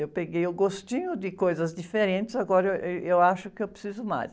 Eu peguei o gostinho de coisas diferentes, agora ih, eu acho que eu preciso mais.